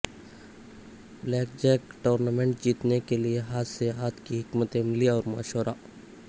black Jack tournament جیتنے کے لئے ہاتھ سے ہاتھ کی حکمت عملی اور مشورہ